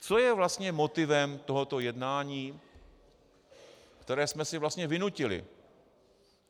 Co je vlastně motivem tohoto jednání, které jsme si vlastně vynutili?